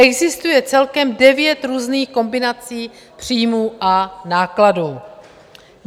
Existuje celkem devět různých kombinací příjmů a nákladů.